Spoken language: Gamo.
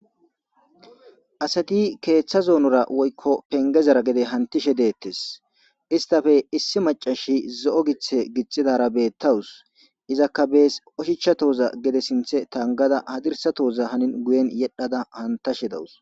asati keeththa zonora woykko pengezara gede hantishe deettes istafe issi macashi zo7o githe gixxidara beettawus izakka bees oshichchatoza gede sinthe tangada hadirsatoza hanin guyen yedhada hantashe dawus